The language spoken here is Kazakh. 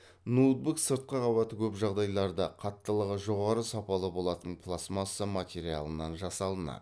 ноутбук сыртқы қабаты көп жағдайларда қаттылығы жоғары сапалы болатын пластмасса материалынан жасалынады